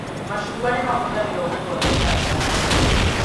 Macungwa nĩ mahũthagĩrwo gũthondeka ndawa